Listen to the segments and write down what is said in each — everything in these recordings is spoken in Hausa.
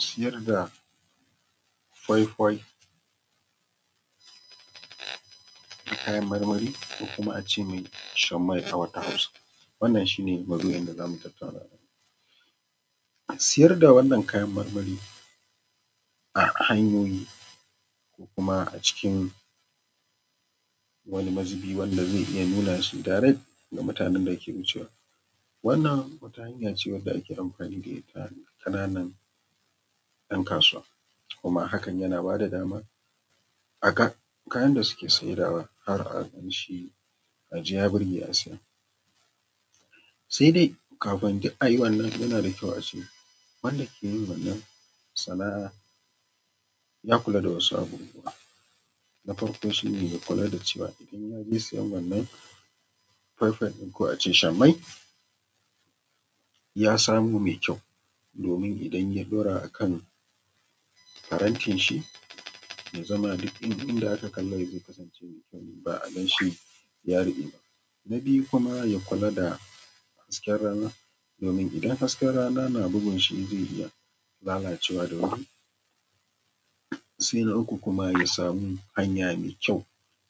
Siyar da ƙwaƙwai da kayan marmari ko kuma ace mai sha mai a wata hausa wannan shi ne mau’duin da zamu tattauna siyar da wannan kayan marmari a hanyoyi ko kuma a cikin wani mazubi wanda zai iya nuna direct ga mutanen dake wucewa, wannan wata hanya hanya ce wace ake amfani da ita ƙananan yan kasuwa kuma hakan yana bada dama a ga kayan da suke siyarwa har a ganshi a ji ya burge a siya, sai dai kafin duk ayi wannan yana da kyau a ce wanda ke yin wannan sana’a ya kula da wasu abubuwa, na farko shi ne kula da cewa idan ya je siyan wannan kwaikwai ɗin ko a ce shamai ya samo mai kyau domin idan ya ɗora akan farantin shi ya zama duk inda aka kala zai kasance mai kyau ne ba a ganshi ya riɓe ba, na biyu kuma ya kula da hasken rana domin idan hasken rana na bugunshi zai iya lalacewa da wuri, sai na uku kuma ya samu hanya mai kyau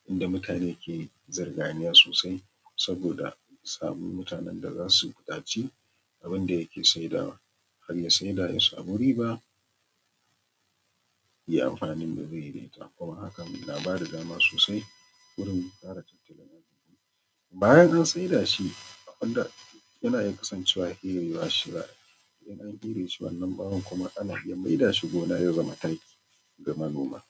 inda mutane ke zurganiya sosai saboda a samu mutane da zasu dace da wanda yake sai dawa harya sai da ya samu riba yayi amfanin da zai yi kuma hakan na ba da dama sosai domin kare tattalin arziki bayan an sai da shi abinda yana iya kasancewa ferewa shi za a yi bayan an fere shi wannan bawon ana iya mai da shi gona ya zama taki ga manoma.